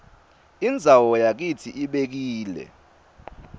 indzawo yakitsi ibekile